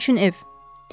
Sizin üçün ev.